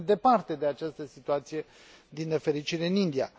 Suntem departe de această situație, din nefericire, în India.